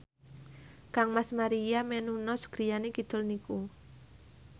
kangmas Maria Menounos griyane kidul niku